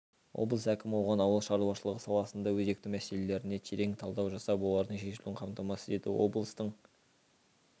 облыс әкімі оған ауыл шаруашылығы саласындағы өзекті мәселелеріне терең талдау жасап олардың шешілуін қамтамасыз ету облыстың